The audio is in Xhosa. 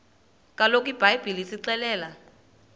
kaloku ibhayibhile isixelela